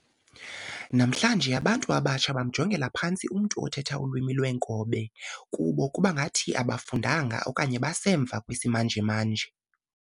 Namhlanje abantu abatsha bamjongela phantsi umntu othetha ulwimi lwenkobe, kubo kubangathi abafundanga okanye basemva kwisisimanje-manje.